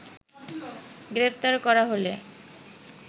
গ্রেপ্তার করা হলে